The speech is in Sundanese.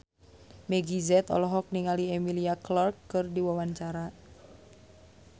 Meggie Z olohok ningali Emilia Clarke keur diwawancara